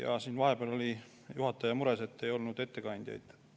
Jaa, siin vahepeal oli juhataja mures, et ei olnud ettekandjaid.